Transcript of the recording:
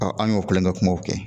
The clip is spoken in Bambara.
an y'o kulonkɛ kumaw kɛ